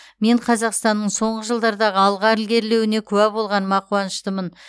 мен қазақстанның соңғы жылдардағы алға ілгерілеуіне куә болғаныма қуаныштымын